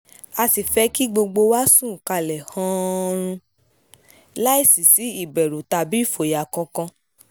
a sì fẹ́ kí gbogbo wa sùn ká lè hán-án-run láì sí sí ìbẹ̀rù tàbí ìfòyà kankan